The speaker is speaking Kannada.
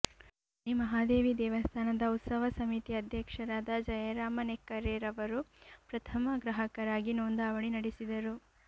ಶ್ರೀ ಮಹಾದೇವಿ ದೇವಸ್ಥಾನದ ಉತ್ಸವ ಸಮಿತಿ ಅಧ್ಯಕ್ಷರಾದ ಜಯರಾಮ ನೆಕ್ಕರೆರವರು ಪ್ರಥಮ ಗ್ರಾಹಕರಾಗಿ ನೋಂದವಣಿ ನಡೆಸಿದರು